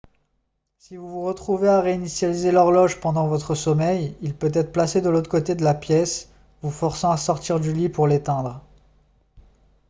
si vous vous retrouvez à réinitialiser l'horloge pendant votre sommeil il peut être placé de l'autre côté de la pièce vous forçant à sortir du lit pour l'éteindre